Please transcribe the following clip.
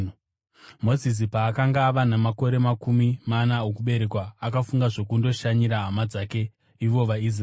“Mozisi paakanga ava namakore makumi mana okuberekwa, akafunga zvokundoshanyira hama dzake ivo vaIsraeri.